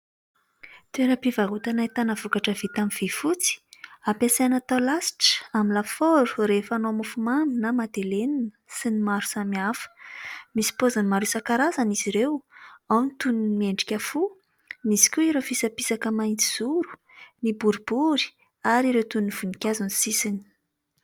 Toera-pivarotana entana vokatra vita amin'ny vy fotsy ampiasaina atao lasitra amin'ny lafaoro rehefa hanao mofomamy na madelenina sy ny maro samy hafa. Misy paoziny maro isankarazany izy ireo : ao ny toy ny miendrika fo, misy koa ireo fisapisaka mahitsy zoro, ny boribory ary ireo toy ny voninkazo ny sisiny.